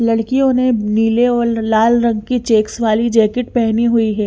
लडकियों ने नीले और लाल रंग की चेक्स वाली जेकिट पहनी हुई है।